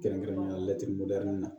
Kɛrɛnkɛrɛnnenya la laturudarani na